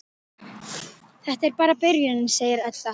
Þetta er bara byrjunin, segir Edda.